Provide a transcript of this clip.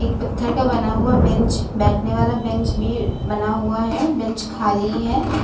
एक पत्थर का बना हुआ बेंच बैठने वाला बेंच भी बना हुआ है। बेंच खाली है।